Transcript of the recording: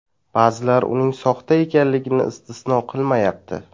Ba’zilar uning soxta ekanligini istisno qilmayapti.